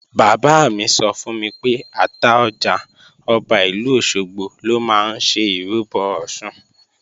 Bàbá mi sọ fún mi pé Àtaọjà, Ọba ìlú Òṣogbo lọ máa ń ṣe ìrúbọ Ọ̀ṣun